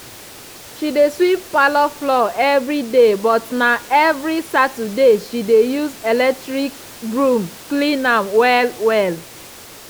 she dey sweep parlour floor everyday but na evri saturday she dey use electric broom clean am well-well.